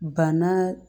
Banna